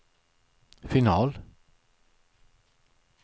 final